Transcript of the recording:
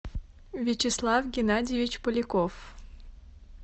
вячеслав геннадьевич поляков